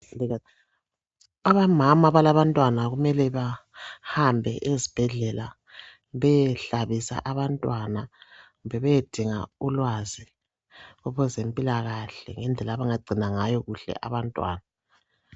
Omama abalabantwana kumele bahambe ezibhedlela beyehlabisa abantwana kumbe beyedinga ulwazi lwezempilakahle lendlela abangagcina ngayo kuhle abantwana .